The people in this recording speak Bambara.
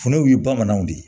Funduw ye bamananw de ye